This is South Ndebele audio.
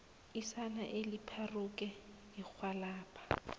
isana elipharuke irhwalabha